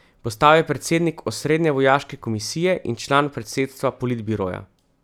Postal je predsednik osrednje vojaške komisije in član predsedstva politbiroja.